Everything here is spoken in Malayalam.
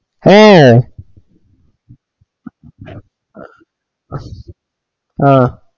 ഏഹ് ആഹ്